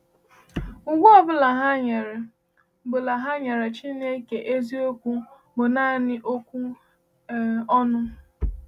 Ugwu ọ bụla ha nyere bụla ha nyere Chineke eziokwu bụ naanị okwu um ọnụ.